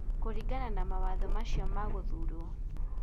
Kũringana na mawatho makio ma gũthuurwo.